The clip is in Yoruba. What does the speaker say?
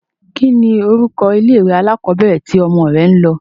Kínni orúkọ ilé-ìwé alákọọ́bẹ̀rẹ̀ tí ọmọ rẹ ń lọ?